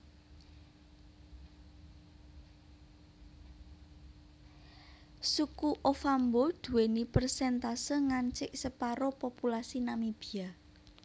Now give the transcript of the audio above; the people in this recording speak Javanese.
Suku Ovambo duwèni persèntase ngancik separo populasi Namibia